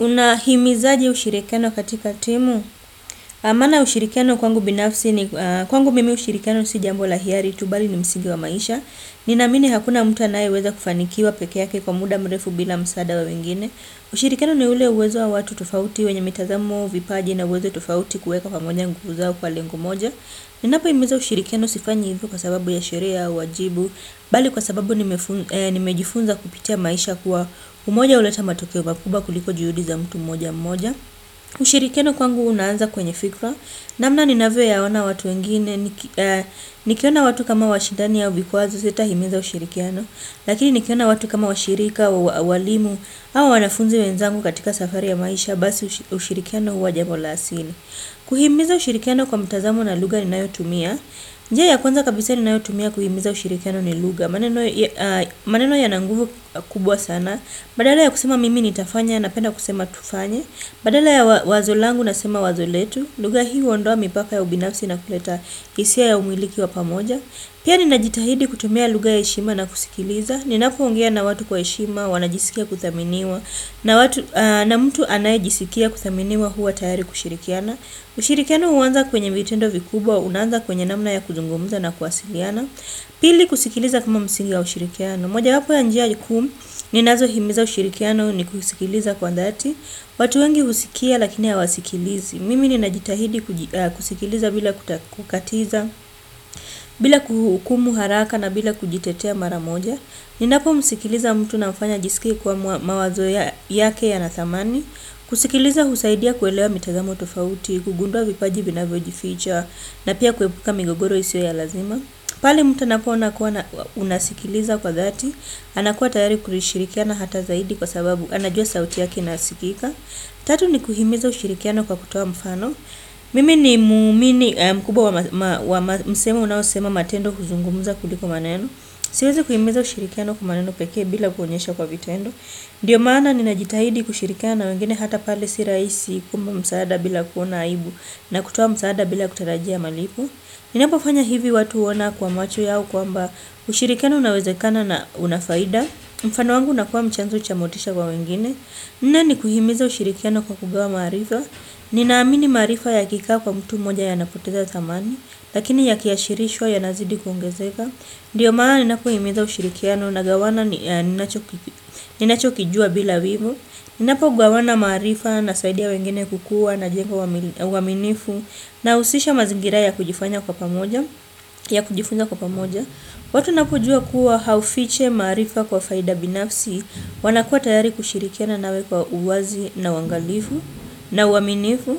Unahimizaje ushirikiano katika timu? Maana ya ushirikiano kwangu binafsi ni kwangu mimi ushirikiano si jambo la hiari tu bali ni msigi wa maisha. Nina amini hakuna mtu anayeweza kufanikiwa pekee yake kwa muda mrefu bila msaada wa wengine. Ushirikiano ni ule uwezo wa watu tofauti wenye mitazamo, vipaji na uwezo tofauti kuweka pamoja nguvu zao kwa lengo moja. Ninapohimiza ushirikiano sifanyi hivo kwa sababu ya sheria, wajibu. Bali kwa sababu nimejifunza kupitia maisha kuwa umoja huleta matokeo makubwa kuliko juhudi za mtu mmoja mmoja. Ushirikiano kwangu unaanza kwenye fikra. Namna ninavyo yaona watu wengine, nikiona watu kama hawashidani au vikwazo sitahimiza ushirikiano. Lakini nikiona watu kama washirika, walimu, au wanafunzi wenzangu katika safari ya maisha, basi ushirikiano huwa jambo la asili. Kuhimiza ushirikiano kwa mtazamo na lugha ninayotumia. Njia ya kwanza kabisa ninayotumia kuhimiza ushirikiano ni lugha, maneno. Maneno yana nguvu kubwa sana. Badala ya kusema mimi nitafanya, napenda kusema tufanye, badala ya wazo langu, nasema wazo letu. Luga hii huondoa mipaka ya ubinafsi na kuleta hisia ya umiliki wa pamoja. Pia ninajitahidi kutumia lugha ya heshima na kusikiliza. Nipoongea na watu kwa heshima wanajisikia kudhaminiwa. Na mtu anayejisikia kudhaminiwa huwa tayari kushirikiana. Ushirikiano huanza kwenye vitendo vikubwa, unaanza kwenye namna ya kuzungumza na kuwasiliana. Pili, kusikiliza kuma msingi ya ushirikiano. Mojawapo ya njia kuu ninazohimiza ushirikiano ni kusikiliza kwa dhati. Watu wengi husikia lakini hawasikilizi. Mimi ninajitahidi kusikiliza bila kukatiza, bila kuhukumu haraka na bila kujitetea mara moja. Ninapo msikiliza mtu namfanya ajisikie kuwa mawazo yake yana dhamani. Kusikiliza husaidia kuelewa mitazamo tofauti, kugundua vipaji vinavyojificha na pia kuebuka migogoro isiyo ya lazima. Pale mtu anapoona kuwa unasikiliza kwa dhati, anakuwa tayari kushirikiana hata zaidi kwa sababu anajua sauti yaki inasikika. Tatu ni kuhimiza ushirikiano kwa kutoa mfano. Mimi ni muumini mkubwa wa msemo unaosema matendo huzungumza kuliko maneno. Siwezi kuhimiza ushirikiano kwa maneno pekee bila kuonyesha kwa vitendo. Ndiyo maana ninajitahidi kushirikana wengine hata pale si rahisi kuomba msaada bila kuona aibu na kutoa msaada bila kutarajia malipo. Ninapofanya hivi watu huona kwa macho yao kwamba ushirikiano unawezekana na unafaida. Mfano wangu unakua chanzo cha motisha kwa wengine. Nne ni kuhimiza ushirikiano kwa kugawa maarifa. Ninaamini maarifa yakikaa kwa mtu mmoja yanapoteza dhamani. Lakini yakiashirishwa yanazidi kuongezeka. Ndio maana ninapohimiza ushirikiano nagawana ninacho kijua bila wivu, ninapo gawana maarifa nasaidia wengine kukua najenga uaminifu na husisha mazingira ya kujifanya kwa pamoja, watu wanapojua kuwa haufichi maarifa kwa faida binafsi wanakuwa tayari kushirikiana nawe kwa uwazi na uangalifu na uaminifu.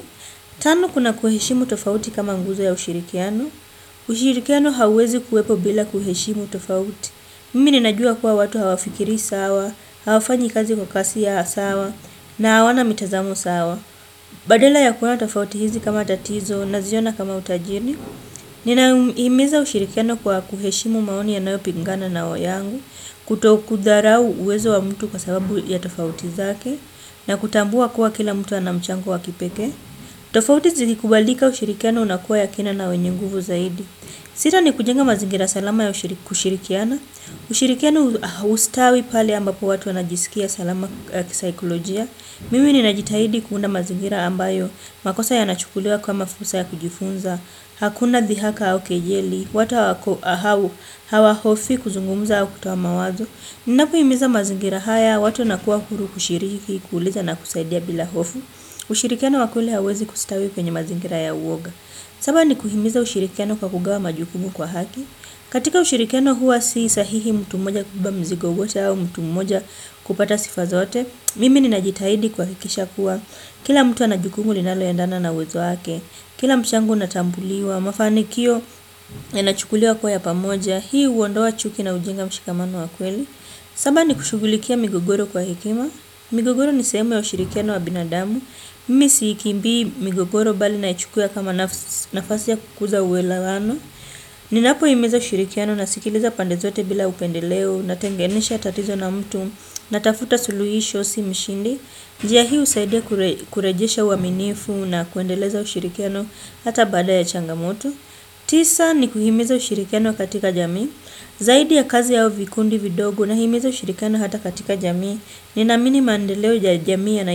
Tano kuna kuheshimu tofauti kama nguzo ya ushirikiano. Ushirikiano hauwezi kuwepo bila kuheshimu tofauti. Mimi ninajua kuwa watu hawafikiri sawa, hawafanyi kazi kwa kasi ya sawa, na hawana mitazamo sawa. Badala ya kuona tofauti hizi kama tatizo, naziona kama utajini. Ninahimiza ushirikiano kwa kuheshimu maoni yanayo pingana na yangu, kutokudharau uwezo wa mtu kwa sababu ya tofauti zake, na kutambua kuwa kila mtu ana mchango wa kipekee. Tofauti zilikubalika, ushirikiano unakuwa ya kina na wenye nguvu zaidi. Sita ni kujenga mazingira salama ya kushirikiana. Ushirikiano hustawi pale ambapo watu wanajisikia salama kisaikolojia. Mimi ninajitahidi kuunda mazingira ambayo. Makosa yanachukuliwa kama fursa ya kujifunza. Hakuna dhihaka au kejeli. Watu hawahofii kuzungumza au kutoa mawazo. Ninapohimiza mazingira haya. Watu wanakuwa huru kushiriki, kuuliza na kusaidia bila hofu. Ushirikiano wa kweli hauwezi kustawi kwenye mazingira ya uoga. Saba ni kuhimiza ushirikiano kwa kugawa majukumu kwa haki. Katika ushirikiano huwa si sahihi mtu mmoja kubeba mizigo wote au mtu mmoja kupata sifa zote. Mimi ninajitaidi kuhakikisha kuwa kila mtu ana jukumu linaloendana na uwezo wake. Kila mchango unatambuliwa, mafanikio yanachukuliwa kuwa ya pamoja. Hii huondoa chuki na hujenga mshikamano wa kweli. Saba ni kushughulikia migogoro kwa hekima. Migogoro ni sehemu ya ushirikiano wa binadamu. Mimi siikimbi migogoro bali na ichukua kama nafasi ya kukuza uelewano. Ninapohimiza ushirikiano, nasikiliza pande zote bila upendeleo natengenisha tatizo na mtu natafuta suluhisho si mshindi. Njia hii husaidia kurejesha uaminifu na kuendeleza ushirikiano hata bada ya changamoto. Tisa ni kuhimiza ushirikiano katika jamii. Zaidi ya kazi yao vikundi vidogo, nahimiza ushirikiano hata katika jamii. Ninaamini mandeleo ya jamii yana.